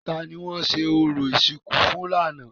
Ta ni wọ́n ṣe orò ìsìnkú fún lánàá?